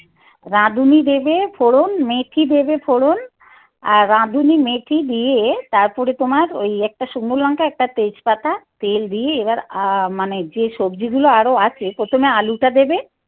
রাঁধুনি দেবে ফোড়ন, মেথি দেবে, ফোড়ন আর রাঁধুনি মেথি দিয়ে তারপরে তোমার ওই একটা শুকনো লঙ্কা, একটা তেজপাতা, তেল দিয়ে এবার মানে যে সবজিগুলো আরো আছে প্রথমে আলুটা দেবে.